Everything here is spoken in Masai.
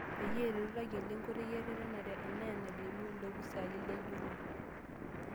Peyie ereto tayiolo nkoitoi eretenare, enaa enalimu ilopisaani lenjurore.